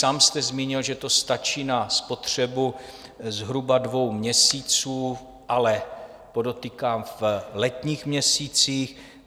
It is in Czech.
Sám jste zmínil, že to stačí na spotřebu zhruba dvou měsíců, ale podotýkám, v letních měsících.